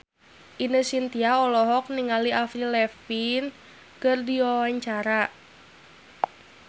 Ine Shintya olohok ningali Avril Lavigne keur diwawancara